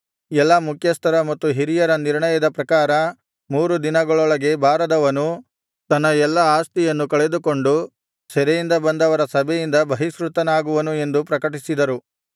ಎಲ್ಲಾ ಮುಖ್ಯಸ್ಥರ ಮತ್ತು ಹಿರಿಯರ ನಿರ್ಣಯದ ಪ್ರಕಾರ ಮೂರು ದಿನಗಳೊಳಗೆ ಬಾರದವನು ತನ್ನ ಎಲ್ಲಾ ಆಸ್ತಿಯನ್ನೂ ಕಳೆದುಕೊಂಡು ಸೆರೆಯಿಂದ ಬಂದವರ ಸಭೆಯಿಂದ ಬಹಿಷ್ಕೃತನಾಗುವನು ಎಂದು ಪ್ರಕಟಿಸಿದರು